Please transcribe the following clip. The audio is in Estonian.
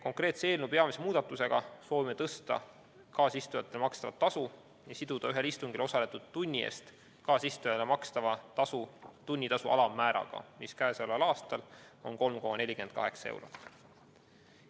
Konkreetse eelnõu pakutava peamise muudatusega soovime tõsta kaasistujatele makstavat tasu ja siduda ühel istungil osaletud tunni eest kaasistujale makstava tasu tunnitasu alammääraga, mis käesoleval aastal on 3,48 eurot.